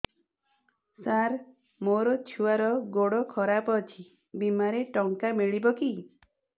ସାର ମୋର ଛୁଆର ଗୋଡ ଖରାପ ଅଛି ବିମାରେ ଟଙ୍କା ମିଳିବ କି